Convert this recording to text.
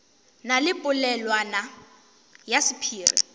na le polelwana ya sephiri